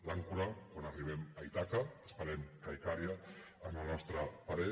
l’àncora quan arribem a ítaca esperem que a icària en el nostre parer